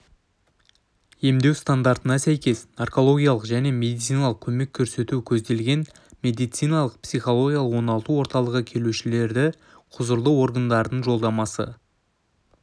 емдеу стандарттарына сәйкес наркологиялық және медициналық көмек көрсету көзделген медициналық-психологиялық оңалту орталығы келушілердіқұзырлы органдардың жолдамасы